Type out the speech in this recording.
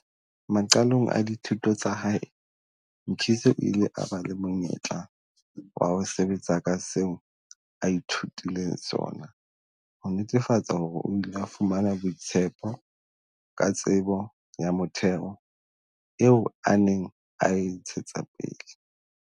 Maqalong a dithuto tsa hae, Mkhize o ile a ba le monyetla wa ho sebetsa ka seo a ithutileng sona, ho netefatsa hore o ile a fumana boitshepo ka tsebo ya motheo eo a neng a e ntshetsa pele.